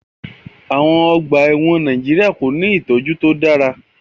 Àwon ogbà èwòn Naijiria ko ni ìtójú to dára